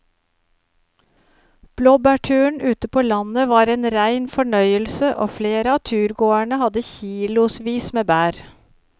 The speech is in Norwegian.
Blåbærturen ute på landet var en rein fornøyelse og flere av turgåerene hadde kilosvis med bær.